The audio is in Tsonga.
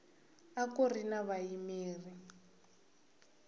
a ku ri na vayimeri